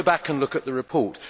Go back and look at the report.